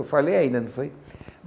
Eu falei ainda, não foi?